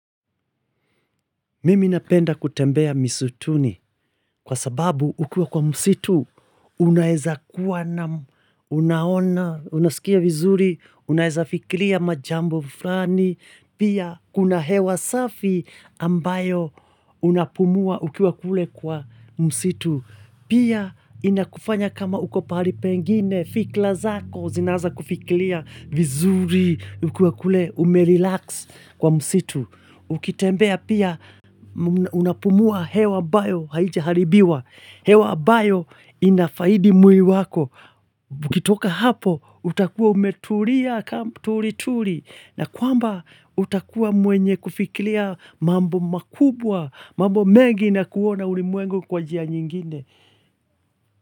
Mimi napenda kutembea msituni kwa sababu ukiwa kwa msitu unaeza kuwa na unaona, unaskia vizuri, unaeza fikiria majambo flani, pia kuna hewa safi ambayo unapumua ukiwa kule kwa msitu. Pia inakufanya kama uko pahali pengine, fikla zako, zinanza kufiklia, vizuri, ukiwa kule, umerilaks kwa msitu. Ukitembea pia, unapumua hewa ambayo haijaharibiwa. Hewa ambayo inafaidi mwili wako. Ukitoka hapo, utakuwa umeturia, turi, turi. Na kwamba utakua mwenye kufikilia mambo makubwa, mambo mengi na kuona ulimwengu kwa njia nyingine.